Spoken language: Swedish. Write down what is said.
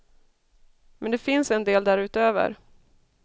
Men det finns en del därutöver.